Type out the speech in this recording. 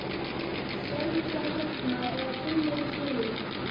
Sérðu það hérna eða finnurðu fyrir því?